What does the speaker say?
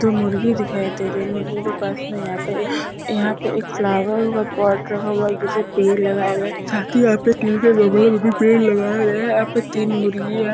तो मुर्गी दिखाई दे रही है मुर्गी के पास मे यहाँ पे यहाँ पे एक फ्लोवर पोट रखा हुआ जिसे पेड़ लगाए गए साथ ही यहाँ पे स्टील के गमले में भी पेड़ लगाया गया है यहाँ पे तीन मुर्गी--